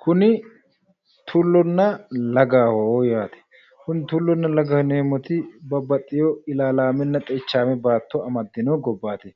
kuni tullonna lagaho yaate kuni tullonna lagaho yineemmoti babbaxino ilaalaamenna xeichaame baatto amaddino gobbaati